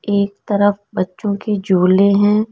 एक तरफ बच्चों के झूले हैं।